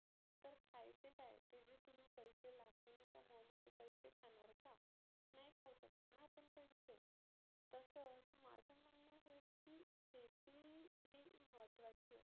तर खायचे काय? ते जे तुम्ही पैसे लाखोनी कमवले ते पैसे खानार का? नाही खाऊ शकतना आपण पैसे तसच माझ म्हणनं हेच की शेती ही महत्वाची आहे.